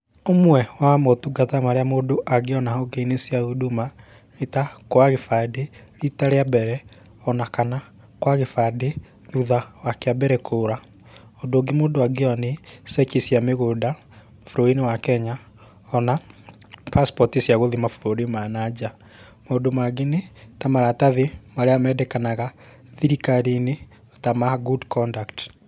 Ũmwe wa motungata marĩa mũndũ angĩona honge-inĩ cia Huduma nĩ ta kuoya gĩbandĩ rita rĩa mbere o na kana kuoya gĩbandĩ thutha wa kĩa mbere kũũra. Ũndũ ũngĩ mũndũ angĩoya nĩ ceki cia mĩgũnda bũrũri-inĩ wa Kenya,o na pasipoti cia gũthiĩ mabũrũri ma na nja. Maũndũ mangĩ nĩ ta maratathi marĩa mendekanaga thirikari-inĩ ta ma Good Conduct.